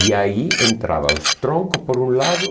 E aí entrava os troncos por um lado.